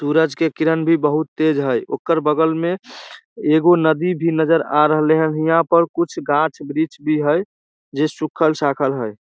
सूरज के किरण भी बहुत तेज हई ओकर बगल में एगो नदी भी नजर आ रहले हैन ईहां पर कुछ गाछ-वृक्ष भी हई जेई सुखल-साखल है।